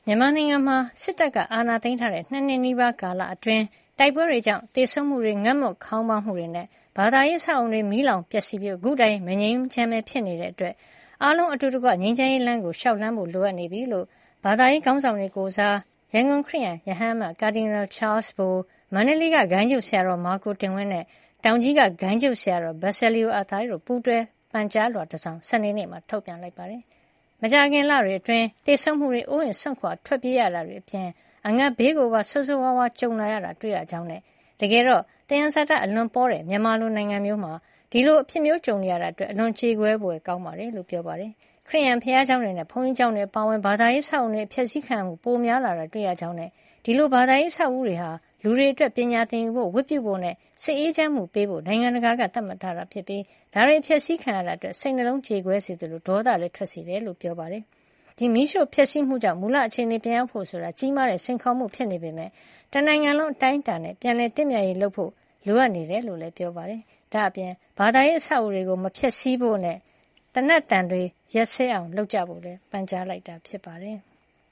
မြန်မာနိုင်ငံမှာ စစ်တပ်က အာဏာသိမ်းထားတဲ့ ၂ နှစ် နီးပါးကာလအတွင်း တိုက်ပွဲတွေကြောင့် သေဆုံးမှုတွေ၊ ငတ်မွတ်ခေါင်းပါးမှုတွေနဲ့ ဘာသာရေး အဆောက်အအုံတွေ မီးလောင်ပျက်စီးရပြီး အခုတိုင် မငြိမ်းချမ်းပဲ ဖြစ်နေတာကြောင့် အားလုံး အတူတကွ ငြိမ်းချမ်းရေးလမ်းကို လျှောက်လှမ်းဖို့ လိုအပ်နေပြီလို့ ဘာသာရေးခေါင်းဆောင်တွေ ကိုယ်စား ရန်ကုန်က ခရစ်ယန် ရဟန်းအမတ် Cardinal Charles Bo ၊ မန္တလေးက ဂိုဏ်းချုပ်ဆရာတော် မာကိုတင်ဝင်း နဲ့ တောင်ကြီးက ဂိုဏ်းချုပ်ဆရာတော် Basilio Athai တို့ က ပူးတွဲပန်ကြားလွှာတစောင် စနေနေ့က ထုတ်ပြန်လိုက်ပါတယ်။ မကြာခင်လတွေ အတွင်း သေဆုံးမှုတွေ၊ အိုးအိမ်စွန့်ခွါထွက်ပြေးရတာတွေအပြင် အငတ်ဘေးကိုပါ ဆိုးဆိုးဝါးဝါး ကြုံလာတာ တွေ့နေရကြောင်းနဲ့ တကယ်တော့ သယံဇာတ အလွန်ပေါတဲ့ မြန်မာလို နိုင်ငံမျိုးမှာ ဒီလိုအဖြစ်မျိုးကြုံနေရတာအတွက် အလွန် ကြေကွဲဖွယ်ကောင်းပါတယ်လို့ ပြောပါတယ်။ ခရစ်ယန်ဘုရားကျောင်းတွေနဲ့ ဘုန်းကြီးကျောင်းတွေ အပါအဝင် ဘာသာရေး အဆောက်အအုံတွေ အဖျက်အဆီးခံရမှု ပိုများလာတာတွေ့ရ ကြောင်းနဲ့ ဒီလို ဘာသာရေး အဆောက်အဦးတွေဟာ လူတွေအတွက် ပညာသင်ယူဖို့၊ ဝတ်ပြုဖို့နဲ့ စိတ်အေးချမ်းမှုပေးဖို့ နိုင်ငံတကာက သတ်မှတ်ထားတာဖြစ်ပြီး ဒါတွေ အဖျက်အဆီးခံရတဲ့အတွက် စိတ်နှလုံးကြေကွဲစေသလို ဒေါသလည်းထွက်စေတယ် လို့ ပြောပါတယ်။ မီးရှို့ဖျက်ဆီးမှုကြောင့် မူလအခြေနေ ပြန်ရောက်ဖို့ ဆိုတာ ကြီးမားတဲ့ စိန်ခေါ်မှု ဖြစ်နေပေမယ့် တနိုင်ငံလုံး အတိုင်းအတာနဲ့ ပြန်လည်သင့်မြတ်ရေး လုပ်ဖို့ လိုအပ်နေတယ်လို့လည်း ပြောပါတယ်။ ဒါ့အပြင် ဘာသာရေး အဆောက်အဦးတွေကို မဖျက်ဆီးဖို့နဲ့ သေနတ်သံတွေ ရပ်စဲအောင် လုပ်ဖို့လည်း ပန်ကြားလိုက်တာ ဖြစ်ပါတယ်။